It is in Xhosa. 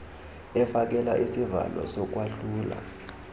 efakela isivalo sokwahlula